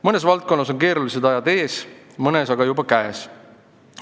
Mõnes valdkonnas on keerulised ajad ees, mõnes valdkonnas aga juba käes.